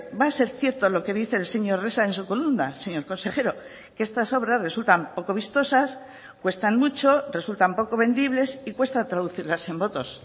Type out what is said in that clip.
va a ser cierto lo que dice el señor resa en su columna señor consejero que estas obras resultan poco vistosas cuestan mucho resultan poco vendibles y cuesta traducirlas en votos